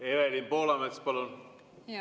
Evelin Poolamets, palun!